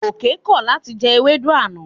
Gòkè kọ̀ láti jẹ ewédú àná.